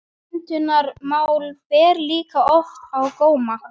Menntunarmál ber líka oft á góma.